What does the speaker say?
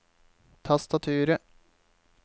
tastaturet